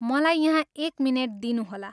मलाई यहाँ एक मिनेट दिनुहोला।